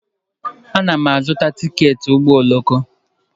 Ana m azụta tiketi ụgbọ oloko.